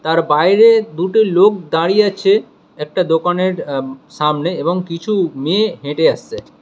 তার বাইরে দুটো লোক দাঁড়িয়ে আছে একটা দোকানের এম সামনে এবং কিছু মেয়ে হেঁটে আসছে।